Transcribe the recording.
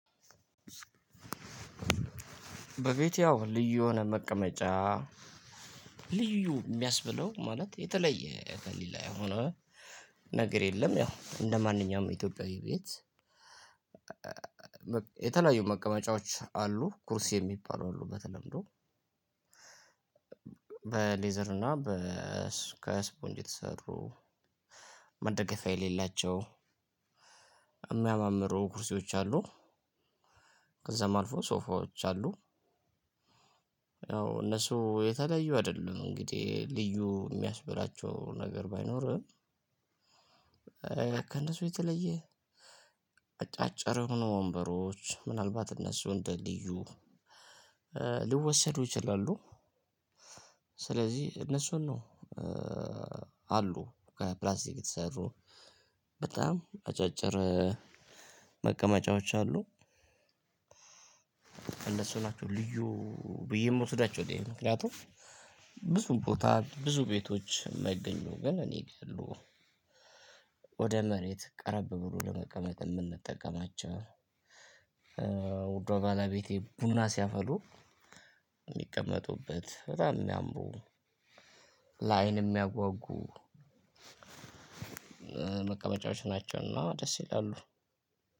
በፊት ያው ልዩ የሆነ መቀመጫ ልዩ የሚያስብለው ማለት የተለየ ከሌላ የሆነ ነገር የለም ያው እንደማንኛውም የኢትዮጵያዊ ቤት። የተለያዩ መቀመጫዎች አሉ ኩርሲ የሚባሉ አሉ በተለምዶ። በሌዘር እና ከስፖንጅ የተሰሩ መደገፊያ የሌላቸው የሚያማምሩ ኩርሴዎች አሉ። ከዛም አልፎ ሶፋዎች አሉ። ያው እነሱ የተለያዩ አይደሉም እንግዲህ ልዩ የሚያስብላቸው ነገር ባይኖርም። ከነሱ የተለየ አጫጭር የሆኑ ወንበሮች ምናልባት እነሱ እንደ ልዩ ልወሰዱ ይችላሉ። ስለዚህ እነሱን ነው አሉ ከፕላስቲክ የተሰሩ በጣም አጫጭር መቀመጫዎች አሉ። እነሱ ናቸው ልዩ ብዬ የምወስዳቸው እኔ ምክንያቱም ብዙ ቦታ ብዙ ቤቶች የማይገኙ ግን እኔጋ ያሉ። ወደ መሬት ቀረብ ብሎ ለመቀመጥ የምንጠቀማቸው። ውዷ ባለቤቴ ቡና ሲያፈሉ የሚቀመጡበት በጣም ነው የሚያምሩ። ለአይን የሚያጓጉ መቀመጫዎች ናቸውና ደስ ይላሉ።